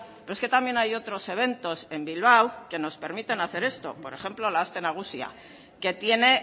pero es que también hay otros eventos en bilbao que nos permiten hacer esto por ejemplo la aste nagusia que tiene